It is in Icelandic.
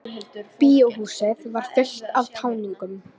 Bíóhúsið var fullt af táningum.